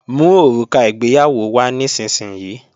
Mú òrùka ìgbéyàwó wá nísinsìnyí!